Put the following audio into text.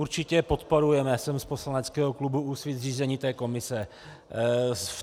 Určitě podporujeme, jsem z poslaneckého klubu Úsvit, zřízení té komise.